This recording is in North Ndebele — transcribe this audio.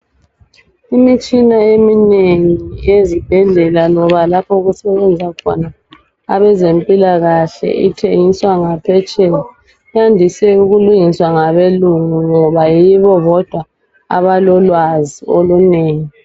Imitshina eminengi yezibhedlela loba lapho okusebenza khona abezempilakahle ithengiswa ngaphetsheya. Yandiswe ukulungiswa ngabelungu ngoba yibo bodwa abalolwazi olunengi.